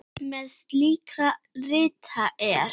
Meðal slíkra rita er